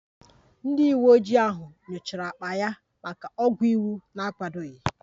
Ndị uweojii ahụ nyochara akpa ya maka ọgwụ iwu na-akwadoghị